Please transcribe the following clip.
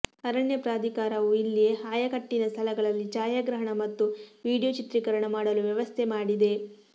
ಅರಣ್ಯ ಪ್ರಾಧಿಕಾರವು ಇಲ್ಲಿ ಆಯಕಟ್ಟಿನ ಸ್ಥಳಗಳಲ್ಲಿ ಛಾಯಾಗ್ರಹಣ ಮತ್ತು ವೀಡಿಯೊ ಚಿತ್ರಿಕರಣ ಮಾಡಲು ವ್ಯವಸ್ಥೆ ಮಾಡಿದೆ